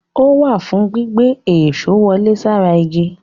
Ó wà fùn ún gbígbá èṣó wọlé sára igi.